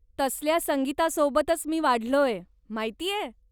तसल्या संगीतासोबतंच मी वाढलोय, माहितेय?